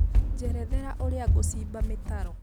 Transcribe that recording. njerethera ũrĩa ngũcĩmba mĩtaro